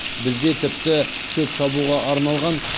бізде тіпті шөп шабуға арналған